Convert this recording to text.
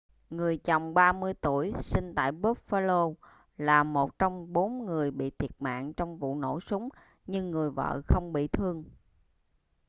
người chồng 30 tuổi sinh tại buffalo là một trong bốn người bị thiệt mạng trong vụ nổ súng nhưng người vợ không bị thương